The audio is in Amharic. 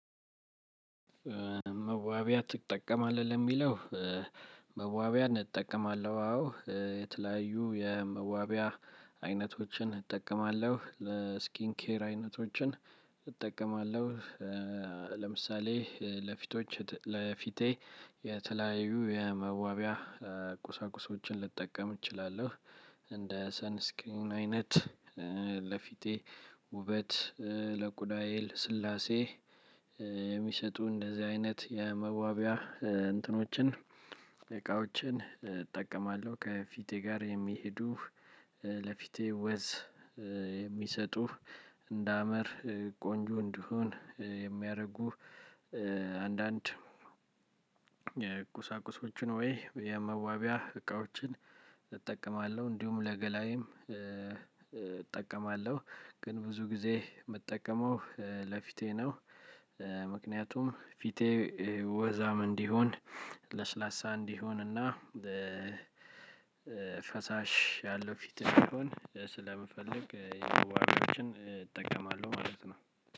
መዋቢያ ትጠቀማለህ ለሚለው? መዋቢያን እጠቀማለሁ አዎ የተለያዩ የመዋቢያ አይነቶችን እጠቀማለሁ ለስኪን ኬር አይነቶችን እጠቀማለሁ። ለምሳሌ ለፊቶች ለፊቴ የተለያዩ የመዋቢያ ቁሳቁሶችን ልጠቀም እችላለሁ። እንደ ሰንስኪን አይነት ለፊቴ ውበት ለቁዳዬ ልስላሴ የሚሰጡ እንደዚህ አይነት የመዋቢያ እንትኖችን እቃዎችን እጠቀማለሁ ከፊቴ ጋር የሚሄዱ ለፊቴ ወዝ የሚሰጡ እንደ አምር ቆንጆ እንድሆን የሚያደርጉ። አንዳንድ የቁሳቁሶቹ ወይ የመዋቢያ እቃዎችን እጠቀማለሁ። እንዲሁም ለገላዬም እጠቀማለሁ ግን ብዙ ጊዜ የምጠቀመው ለፊቴ ነው። ምክንያቱም ፊቴ ወዛም እንዲሆን ለስላሳ እንዲሆንና ፈሳሽ ያለው ፊት ቢሆን ስለምፈልግ የመዋቢያዎችን እጠቀማለሁ ማለት ነው።